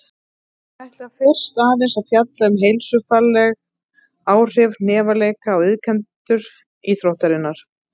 Ég ætla fyrst aðeins að fjalla um heilsufarsleg áhrif hnefaleika á iðkendur íþróttarinnar.